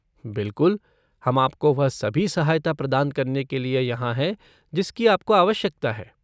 बिलकुल! हम आपको वह सभी सहायता प्रदान करने के लिए यहाँ हैं जिसकी आपको आवश्यकता है।